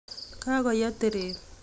Kagoyei teret